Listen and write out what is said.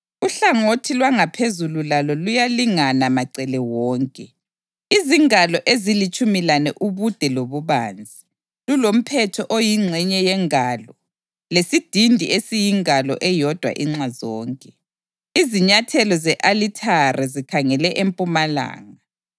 Uhlangothi lwangaphezulu lalo luyalingana macele wonke, izingalo ezilitshumi lane ubude lobubanzi lulomphetho oyingxenye yengalo lesidindi esiyingalo eyodwa inxa zonke. Izinyathelo ze-alithare zikhangele empumalanga.”